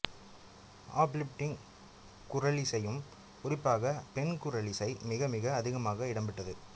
uplifting குரலிசையும் குறிப்பாக பெண் குரலிசை மிக மிக அதிகமாக இடம்பெற்றது